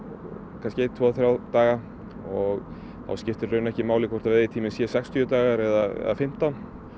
kannski einn tvo þrjá daga og þá skiptir í rauninni ekki máli þó veiðitíminn sé sextíu dagar eða fimmtán